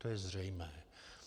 To je zřejmé.